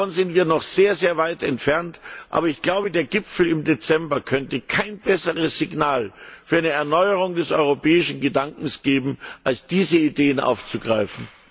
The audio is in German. Davon sind wir noch sehr weit entfernt, aber ich glaube, der Gipfel im Dezember könnte kein besseres Signal für eine Erneuerung des europäischen Gedankens geben, als diese Ideen aufzugreifen.